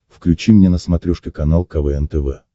включи мне на смотрешке канал квн тв